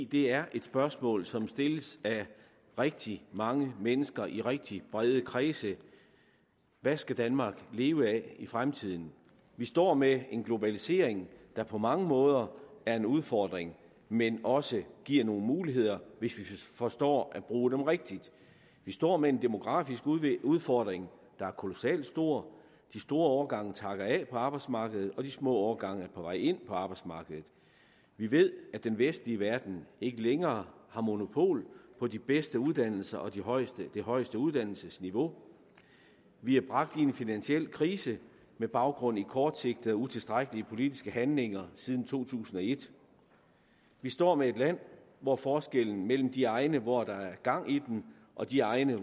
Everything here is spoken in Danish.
det er et spørgsmål som stilles af rigtig mange mennesker i rigtig brede kredse hvad skal danmark leve af i fremtiden vi står med en globalisering der på mange måder er en udfordring men også giver nogle muligheder hvis vi forstår at bruge dem rigtigt vi står med en demografisk udfordring der er kolossalt stor de store årgange takker af på arbejdsmarkedet og de små årgange på vej ind på arbejdsmarkedet vi ved at den vestlige verden ikke længere har monopol på de bedste uddannelser og det højeste det højeste uddannelsesniveau vi er bragt i en finansiel krise med baggrund i kortsigtede og utilstrækkelige politiske handlinger siden to tusind og et vi står med et land hvor forskellen mellem de egne hvor der er gang i den og de egne